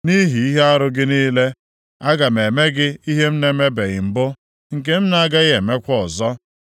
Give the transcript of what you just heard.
Nʼihi ihe arụ gị niile, aga m eme gị ihe m na-emebeghị mbụ, nke m agaghị emekwa ọzọ.